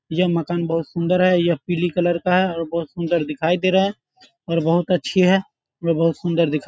यह मकान बहुत सुंदर है। यह पीली कलर का है और बहुत सुंदर दिखाई दे रहा है और बहुत अच्छी है। ये बहुत सुंदर दिखाई --